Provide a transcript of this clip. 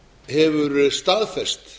hefur staðfest